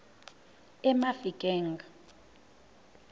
emafikeng